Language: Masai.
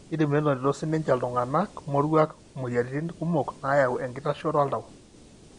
kidim nenotito sininche iltunganaa moruak imoyiaritin kumok nayau enkitashoto oltau.